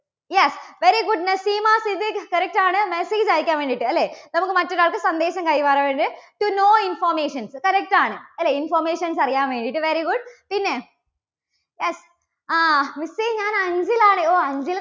yes, very good Naseema Siddique. correct ആണ്. message അയക്കാൻ വേണ്ടിയിട്ട് അല്ലേ. നമുക്ക് മറ്റൊരാൾക്ക് സന്ദേശം കൈമാറാൻ വേണ്ടിയിട്ട്. to know informations correct ആണ് അല്ലേ? informations അറിയാൻ വേണ്ടിയിട്ട്. very good പിന്നെ yes ആ miss എ ഞാൻ അഞ്ചൽ ആണ്. ഓ അഞ്ചൽ